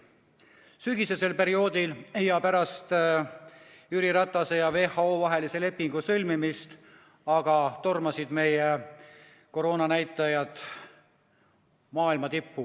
Aga sügisesel perioodil, pärast Jüri Ratase ja WHO vahelise lepingu sõlmimist tormasid meie koroonanäitajad maailma tippu.